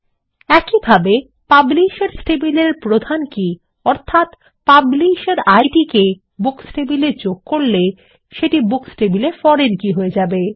একইভাবে পাবলিশার্স টেবিলের প্রধান কী অর্থাত পাবলিশের ইদ কে বুকস টেবিলে যোগ করলে সেটি বুকস টেবিলে ফরেন কী হয়ে যাবে